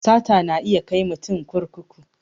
Sata na iya kai mutum kurkuku